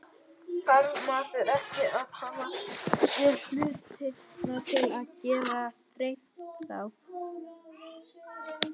Þarf maður ekki að hafa séð hlutina til að geta dreymt þá?